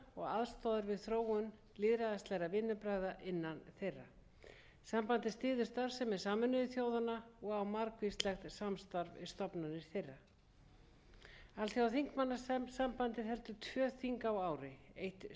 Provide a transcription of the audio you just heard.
að hausti sem er haldið í genf nema annað sé ákveðið sérstaklega auk þess heldur sambandið alþjóðlegar ráðstefnur og málstofur á ári hverju